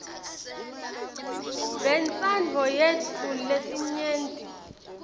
bentsandvo yetfu yelinyenti